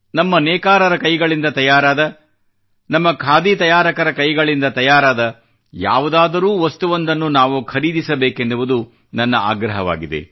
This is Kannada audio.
ನಮ್ಮ ನೇಕಾರರ ಕೈಗಳಿಂದ ತಯಾರಾದ ನಮ್ಮ ಖಾದಿ ತಯಾರಕರ ಕೈಗಳಿಂದ ತಯಾರಾದ ಯಾವುದಾದರೂ ವಸ್ತುವೊಂದನ್ನು ನಾವು ಖರೀದಿಸಬೇಕೆನ್ನುವುದು ನನ್ನ ಆಗ್ರಹವಾಗಿದೆ